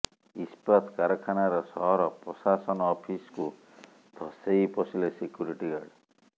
ଇସ୍ପାତ କାରଖାନାର ସହର ପ୍ରଶାସନ ଅଫିସକୁ ଧସେଇ ପଶିଲେ ସିକ୍ୟୁରିଟି ଗାର୍ଡ